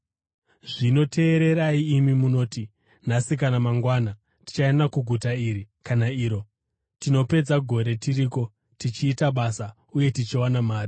Zvino teererai, imi munoti, “Nhasi kana mangwana tichaenda kuguta iri kana iro, tinopedza gore tiriko, tichiita basa uye tichiwana mari.”